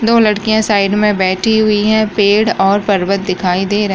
दो लड़कियां साइड मे बैठी हुई हैं पड़े और पर्वत दिखाई दे रहे --